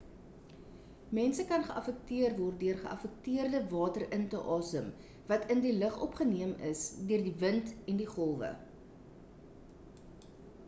mense kan geaffekteer word deur geaffekteerde water in te asem wat in die lug opgeneem is deur die wind en die golwe